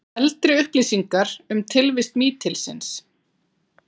Eldri upplýsingar um tilvist mítilsins